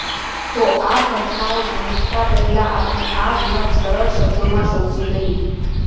તો આ ઘટનાઓ સમજતા પહેલા આપણે આ વિવાદ સરળ શબ્દોમાં સમજી લઈએ